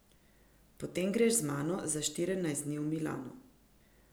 Potem greš z mano za štirinajst dni v Milano.